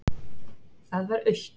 Það var autt.